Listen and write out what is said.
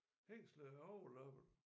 Hængslet er overlappet